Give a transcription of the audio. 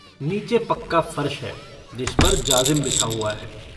नीचे पक्का फर्श है जिस पर जाजिम बिछा हुआ है।